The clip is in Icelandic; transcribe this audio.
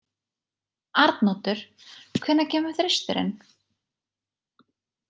Arnoddur, hvenær kemur þristurinn?